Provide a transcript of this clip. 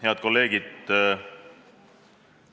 Head kolleegid!